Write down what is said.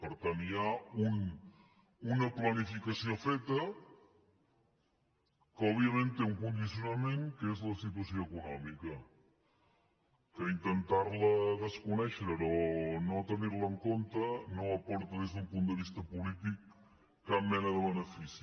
per tant hi ha una planificació feta que òbviament té un condicionament que és la situació econòmica que intentar la desconèixer la o no tenir la en compte no aporta des d’un punt de vista polític cap mena de benefici